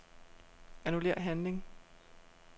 Annullér handling.